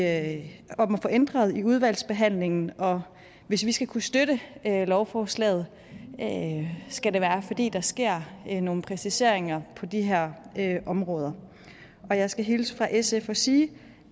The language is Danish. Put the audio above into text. at få ændret under udvalgsbehandlingen hvis vi skal kunne støtte lovforslaget skal det være fordi der sker nogle præciseringer på de her områder og jeg skal hilse fra sf og sige